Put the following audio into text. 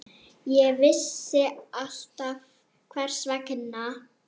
Ég vissi alltaf hvers vegna.